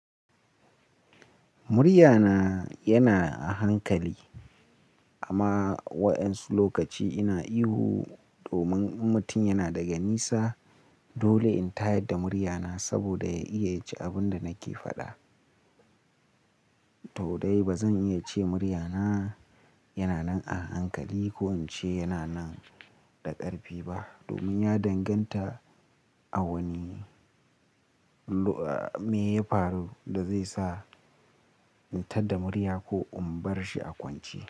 Muryana yana a hankali amma wa'yansu lokaci ina ihu domin in mutum yana daga nisa dole in tayar da muryana saboda ya iya ya ji abin da nake faɗa. To dai ba zan iya ce muryana yana nan a hankali ko in ce yana nan da ƙarfi ba domin ya danganta a wani me ya faru da zai sa in tad da murya ko in bar shi a kwance.